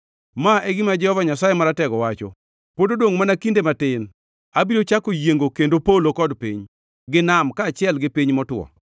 “Ma e gima Jehova Nyasaye Maratego wacho, ‘Pod odongʼ mana kinde matin, abiro chako yiengo kendo polo kod piny, gi nam, kaachiel gi piny motwo;